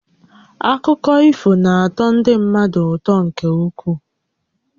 Akụkọ ifo na-atọ ndị mmadụ ụtọ nkè ukwuu